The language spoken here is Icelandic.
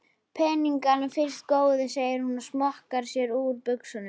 Peningana fyrst góði, segir hún og smokrar sér úr buxunum.